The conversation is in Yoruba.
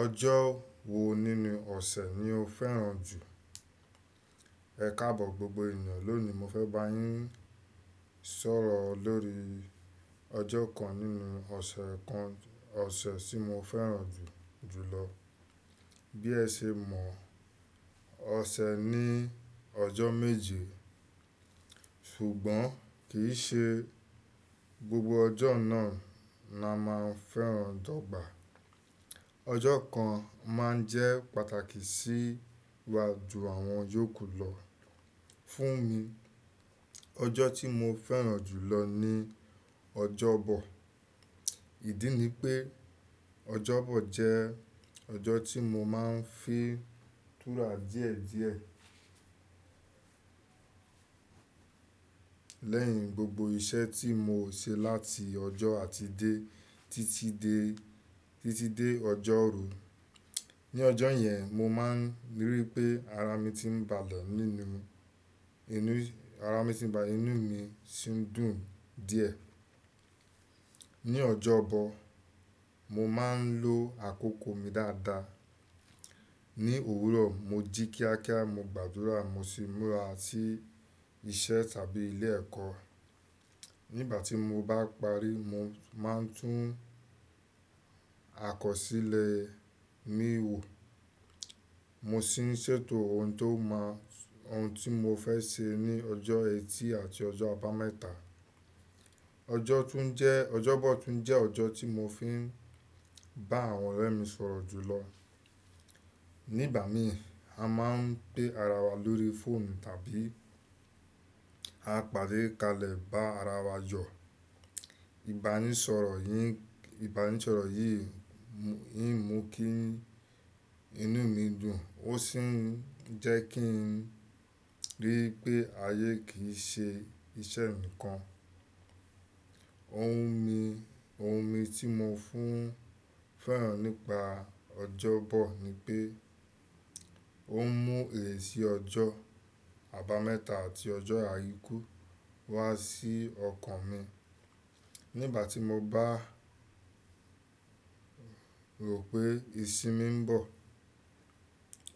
Ọjọ́ wo nínú ọ̀sẹ̀ ni o fẹ́ràn jù? Ẹ̀ káàbọ̀ gbogbo ènìyàn, lónìí mo fẹ́ bá yín sọ̀rọ̀ lórí ọjọ́ kan nínú ọ̀sẹ̀ kan ọ̀sẹ̀ tí mo fẹ́ràn jù jùlọ. Bí ẹ ṣe mọ̀ ọ̀sẹ̀ ní ọjọ́ méje, ṣùgbọ́n kì í ṣe gbogbo ọjọ́ náà ni a máa ń fẹ́ràn dọ́gba. Ọjọ́ kan máa ń jẹ́ pàtàkì sì wá ju àwọn yòókù lọ. Fún mi, ọjọ́ tí mo fẹ́ràn jù lọ ni ọjọ́bọ̀. Ìdí ni pé ọjọ́bọ̀ jẹ́ ọjọ́ tí mo máa ń fi túrà díẹ̀ díẹ̀ lẹ́yìn gbogbo iṣẹ́ tí mo ṣe láti ọjọ́ àtìdẹ́ títí dé, títí dé ọjọ́rú. Ní ọjọ́ yẹn, mo máa ń rí i pé ara mi ti ń balẹ̀ nínú, inú, ara mi ti ń ba, inú mi sì ń dùn díẹ̀. Ní ọjọ́bọ̀, mo máa ń lo àkókò mi dáadáa. Ní òwúrọ̀ mo jí kíákíá, mo gbàdúrà, mo sì múra sí iṣẹ́ tàbí ilé ẹ̀kọ́. Nígbà tí mo bá parí, mo máa ń tún akọsílẹ̀ mi wò, mo sì ń ṣètò ohun tó máa, ohun tí mo fẹ́ ṣe ní ọjọ́ ẹtì àti ọjọ́ àbámẹ́ta. Ọjọ́ tún jẹ́, ọjọ́bọ̀ tún jẹ́ ọjọ́ tí mo fi ń bá àwọn ọ̀rẹ́ mi sọ̀rọ̀ jù lọ. Nígbà mi, a máa ń pé ara wa lórí fóònù tàbí a pàdé kalẹ̀ bá ara wa jọ̀. Ìbánisọ̀rọ̀ yìí, ìbánisọ̀rọ̀ yìí, yìí ń mú kí inú mi dùn, ó sì ń jẹ́ kí n rí i pé ayé kì í ṣe iṣẹ́ nìkan. Ohun mi, ohun mi tí mo fún fẹ́ràn nípa ọjọ́bọ̀ ni pé ó ń mú èsì ọjọ́ àbámẹ́ta àti ọjọ́ àìkú wá sí ọkàn mi. Nígbà tí mo bá rò pé ìsinmi ń bọ̀,